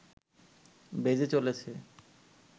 বেজে চলেছে